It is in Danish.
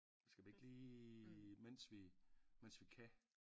Skal vi ikke lige mens vi mens vi kan?